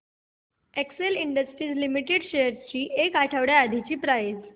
Excel Industries Limited shares ची एक आठवड्या आधीची प्राइस